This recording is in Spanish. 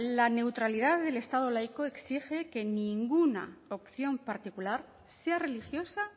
la neutralidad del estado laico exige que ninguna opción particular sea religiosa